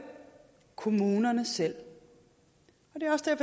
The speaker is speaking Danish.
kommunerne selv